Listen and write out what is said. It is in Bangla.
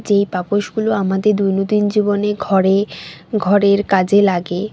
যে পাপোশ গুলো আমাদের দৈনদিন জীবনে ঘরে ঘরের কাজে লাগে।